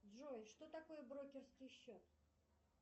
джой что такое брокерский счет